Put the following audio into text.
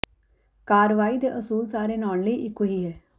ਕਾਰਵਾਈ ਦੇ ਅਸੂਲ ਸਾਰੇ ਨਾਉਣ ਲਈ ਇੱਕੋ ਹੀ ਹੈ